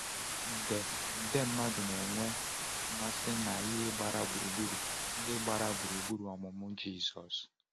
nde nde mmadụ na-enwe mmasị na ihe ndị gbara gburugburu ndị gbara gburugburu ọmụmụ Jizọs.